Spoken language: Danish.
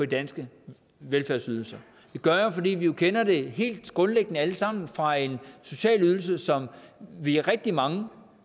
danske velfærdsydelser det gør jeg fordi vi jo kender det helt grundlæggende alle sammen fra en social ydelse som vi er rigtig mange